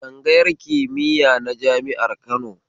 Tsangayar kimiya na jami'ar Kano